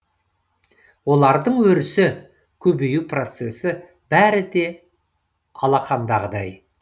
олардың өрісі көбею процесі бәрі де алақандағыдай